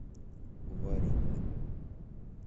варенька